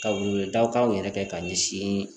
Ka wele daw kaw yɛrɛ kɛ ka ɲɛsin